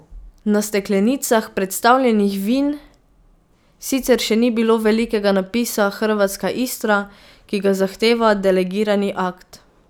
Na steklenicah predstavljenih vin sicer še ni bilo velikega napisa Hrvatska Istra, ki ga zahteva delegirani akt.